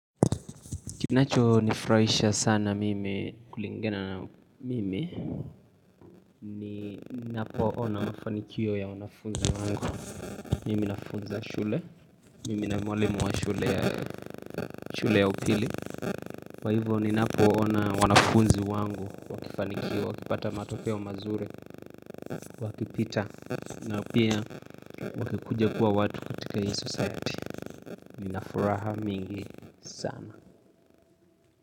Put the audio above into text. Kinachonifurahisha sana mimi kulingana na mimi ni ninapoona mafanikio ya wanafunzi wangu, mimi nafunza shule, mimi na mwalimu wa shule shule ya upili, kwa hivo ninapoona wanafunzi wangu, wakifanikiwa, wakipata matokeo mazuri wakipita na pia wakikuja kuwa watu katika hii society, nina furaha mingi sana.